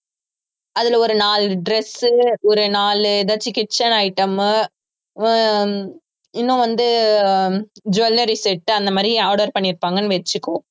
அதுல ஒரு நாலு dress சு ஒரு நாலு ஏதாச்சும் kitchen item மு அஹ் இன்னும் வந்து jewellery set அந்த மாதிரி order பண்ணியிருப்பாங்கன்னு வச்சுக்கோ